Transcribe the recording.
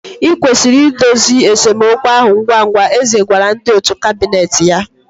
I kwesịrị idozi esemokwu ahụ ngwa ngwa, eze gwara ndị òtù kabinet ya